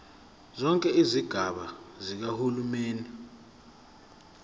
zonke izigaba zikahulumeni